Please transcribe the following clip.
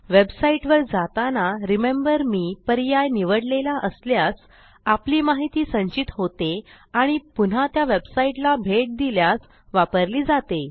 वेबसाईटवर जाताना remember me पर्याय निवडलेला असल्यास आपली माहिती संचित होते आणि पुन्हा त्या वेबसाईटला भेट दिल्यास वापरली जाते